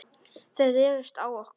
Þeir réðust á okkur.